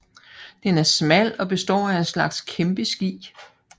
Den er smal og består af en slags kæmpe ski